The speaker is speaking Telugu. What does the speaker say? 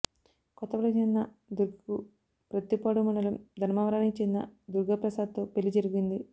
కొత్తపల్లికి చెందిన దుర్గకు ప్రత్తిపాడు మండలం ధర్మవరానికి చెందిన దుర్గాప్రసాద్తో పెళ్లి జరిగింది